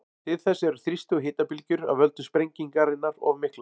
Til þess eru þrýsti- og hitabylgjur af völdum sprengingarinnar of miklar.